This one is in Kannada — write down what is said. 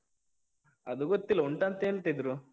ಅದು ಗೊತ್ತಿಲ್ಲ, ಉಂಟಂತ ಹೇಳ್ತಿದ್ರು.